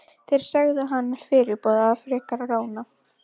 Þeir sögðu hana fyrirboða frekari rána.